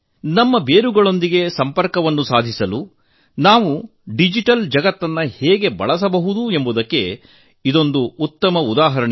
ನಮ್ಮ ಬೇರುಗಳೊಂದಿಗೆ ಸಂಪರ್ಕ ಸಾಧಿಸಲು ನಾವು ಡಿಜಿಟಲ್ ಜಗತ್ತನ್ನು ಹೇಗೆ ಬಳಸಬಹುದು ಎಂಬುದಕ್ಕೆ ಇದು ಒಂದು ಉದಾಹರಣೆ